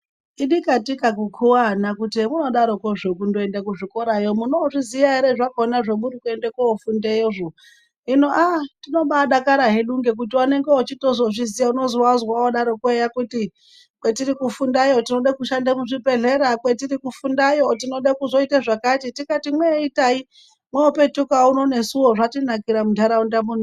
Idikatika kukuva ana kuti zvemuadarokozvo kundoenda kuzvikorayo munozviziya ere zvakona zvemuri kuenda kofundeyozvo. Hino aa tinobadakara hedu ngekuti vanonga vachitozviziya unozovazwa vodaroko kuti kwetiri kufundayo tinode kushande muzvibhedhlera. Kwetiri kufundayo tinode kuite zvakati tikati mweitai mwopetuka uno nesuvo zvatinakira muntaraunda mwedu muno.